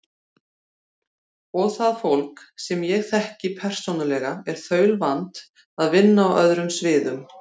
Og það fólk, sem ég þekki persónulega, er þaulvant að vinna á öðrum sviðum.